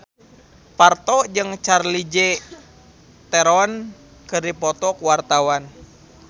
Parto jeung Charlize Theron keur dipoto ku wartawan